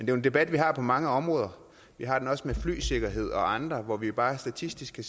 jo en debat vi har på mange områder vi har den også med flysikkerhed og andre områder hvor vi jo bare statistisk kan